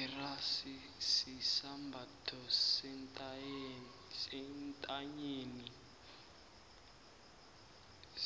irasi sisambatho sentanyeni